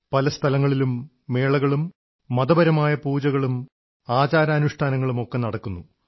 പല സ്ഥലങ്ങളിലും മേളകളും മതപരമായ പൂജകളും ആചാരാനുഷ്ഠാനങ്ങളുമൊക്കെ നടക്കുന്നു